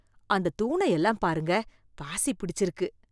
அந்த தூணை எல்லாம் பாருங்க, பாசி பிடிச்சிருக்கு